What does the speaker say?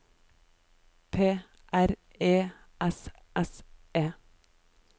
P R E S S E